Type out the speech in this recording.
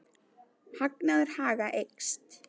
Hagnaður Haga eykst